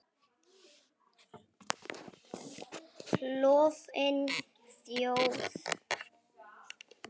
Klofin þjóð.